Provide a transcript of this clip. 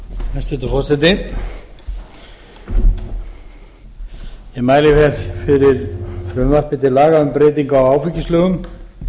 hæstvirtur forseti ég mæli hér fyrir frumvarpi til laga um breytingu á áfengislögum númer